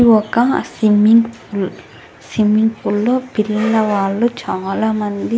ఇది ఒక swimming pool swimming pool లో పిల్లవాళ్ళు చాలా మంది --